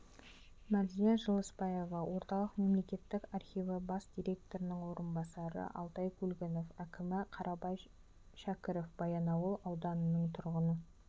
мәрзия жылысбаева орталық мемлекеттік архиві бас директорының орынбасары алтай көлгінов әкімі қарабай шәкіров баянауыл ауданының тұрғыны